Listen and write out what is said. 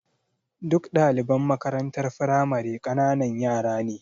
Duk ɗdaliban makarantar firamare ƙananan yara ne.